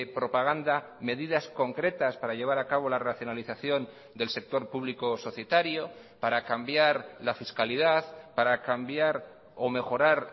propaganda medidas concretas para llevar a cabo la racionalización del sector público societario para cambiar la fiscalidad para cambiar o mejorar